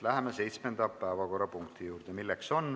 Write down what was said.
Läheme seitsmenda päevakorrapunkti juurde.